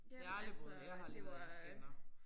Jeg har aldrig prøvet det. Jeg har aldrig været i en scanner